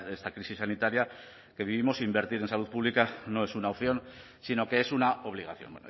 esta crisis sanitaria que vivimos invertir en salud pública no es una opción sino que es una obligación